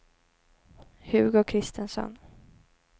Hugo Christensson